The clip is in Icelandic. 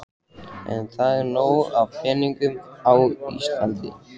En það er til nóg af peningum í þessu landi.